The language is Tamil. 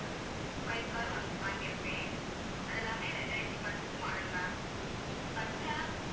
five car வ~ வாங்கியிருப்பேன் அது எல்லாமே ரெண்டாயிரத்தி பத்து model ma'ampersonal ஆ